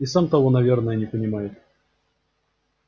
и сам того наверное не понимает